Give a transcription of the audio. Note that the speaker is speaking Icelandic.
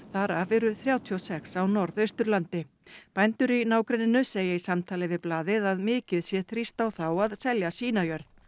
þar af eru þrjátíu og sex á Norðausturlandi bændur í nágrenninu segja í samtali við blaðið að mikið sé þrýst á þá að selja sína jörð